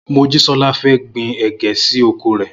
Mojísọ́lá fẹ́ gbin ẹ̀gẹ́ sí oko rè.